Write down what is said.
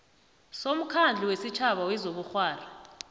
somkhandlu wesitjhaba wezobukghwari